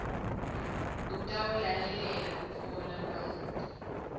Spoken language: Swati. utawulalelela kutfola lwati